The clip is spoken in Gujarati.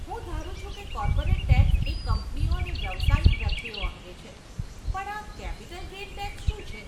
હું ધારું છું કે કોર્પોરેટ ટેક્સ એ કંપનીઓ અને વ્યવસાયિક વ્યક્તિઓ અંગે છે પણ આ કેપિટલ ગેઇન ટેક્સ શું છે?